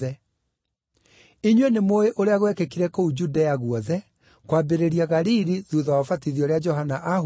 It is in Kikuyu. Inyuĩ nĩmũũĩ ũrĩa gwekĩkire kũu Judea guothe, kwambĩrĩria Galili thuutha wa ũbatithio ũrĩa Johana aahunjagia,